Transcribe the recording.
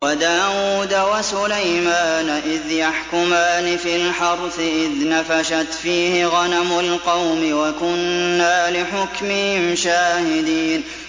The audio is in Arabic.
وَدَاوُودَ وَسُلَيْمَانَ إِذْ يَحْكُمَانِ فِي الْحَرْثِ إِذْ نَفَشَتْ فِيهِ غَنَمُ الْقَوْمِ وَكُنَّا لِحُكْمِهِمْ شَاهِدِينَ